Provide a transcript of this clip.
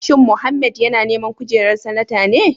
Shin Mohammed yana neman kujerar Sanata ne?